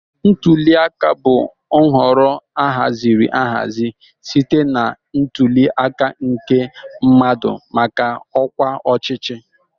Ntuli aka bụ nhọrọ ahaziri ahazi site na ntuli aka nke mmadụ maka ọkwa ọchịchị